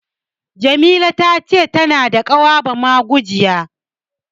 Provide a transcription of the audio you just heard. Jamila ta ce tana da ƙawa bamagujiya.